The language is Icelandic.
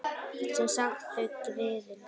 Sem sagt: þau, griðin.